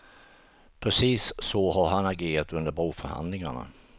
Precis så har han agerat under broförhandlingarna.